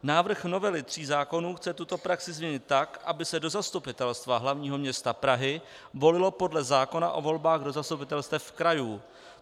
Návrh novely tří zákonů chce tuto praxi změnit tak, aby se do Zastupitelstva hlavního města Prahy volilo podle zákona o volbách do zastupitelstev krajů.